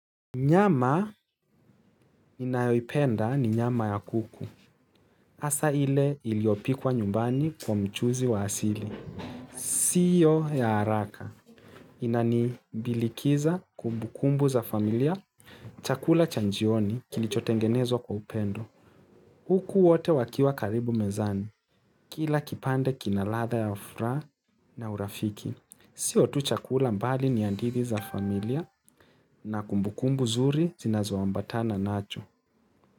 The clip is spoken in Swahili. Nyama ninayoipenda ni nyama ya kuku. Asa ile iliopikwa nyumbani kwa mchuzi wa asili. Sio ya haraka. Inani bilikiza kumbukumbu za familia. Chakula cha njioni kilichotengenezwa kwa upendo. Huku wote wakiwa karibu mezani. Kila kipande kinaladha ya furaha na urafiki. Sio tu chakula mbali ni hadithi za familia na kumbukumbu zuri zinazoambatana nacho.